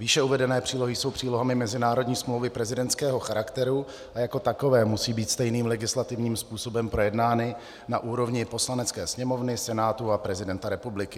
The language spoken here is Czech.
Výše uvedené přílohy jsou přílohami mezinárodní smlouvy prezidentského charakteru a jako takové musí být stejným legislativním způsobem projednány na úrovni Poslanecké sněmovny, Senátu a prezidenta republiky.